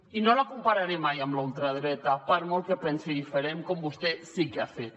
i no la compararé mai amb la ultradreta per molt que pensi diferent com vostè sí que ho ha fet